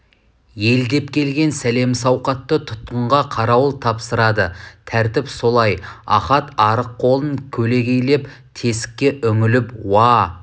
ел деп келген сәлем-сауқатты тұтқынға қарауыл тапсырады тәртіп солай ахат арық қолын көлегейлеп тесікке үңіліп уа